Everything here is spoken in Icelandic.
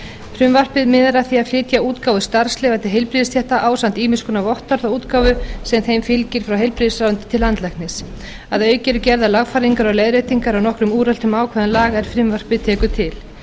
frumvarpið miðar að því að flytja útgáfu starfsleyfa til heilbrigðisstétta ásamt ýmiss konar vottorðaútgáfu sem þeim fylgir frá heilbrigðisráðuneyti til landlæknis að auki eru gerðar lagfæringar og leiðréttingar á nokkrum úreltum ákvæðum laga er frumvarpið tekur til